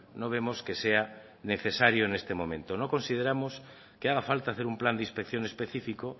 no vemos que sea necesario en este momento no consideramos que haga falta hacer un plan de inspección específico